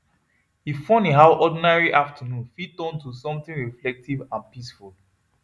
e funny how ordinary afternoon fit turn to something reflective and peaceful